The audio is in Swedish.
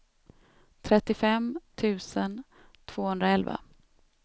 trettiofem tusen tvåhundraelva